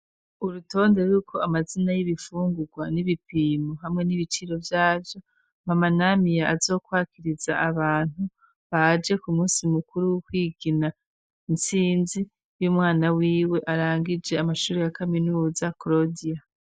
urutonde ruriko amazina y'ibifungurwa n'ibipimo hamwe n'ibiciro vyavyo, mama Namia azokwakiriza abantu baje ku munsi mukuru wo kwigina intsinzi y'umwana wiwe arangije amashuri ya kaminuza krodia.